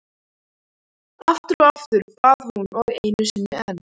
Aftur og aftur, bað hún og einu sinni enn.